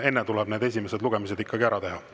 Enne tuleb need esimesed lugemised ikkagi ära teha.